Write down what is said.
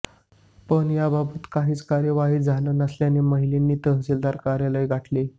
पण याबाबत काहीच कार्यवाही झाली नसल्याने महिलांनी तहसीलदार कार्यालय गाठले